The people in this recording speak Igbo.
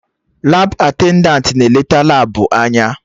Labụ atendantị na eneta Labụ anya